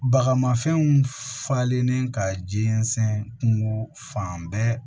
Bagamafɛnw falenlen ka jɛnsɛn kungo fan bɛɛ